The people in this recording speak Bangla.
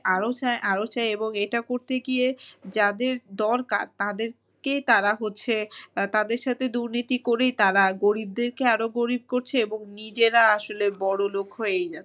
আরো চায় আরো চায় এবং এটা করতে গিয়ে যাদের দরকার তাদেরকে তারা হচ্ছে তাদের সাথে দুর্নীতি করেই তারা গরিবদেরকে আরো গরিব করছে এবং নিজেরা আসলে বড়োলোক হয়েই যাচ্ছে।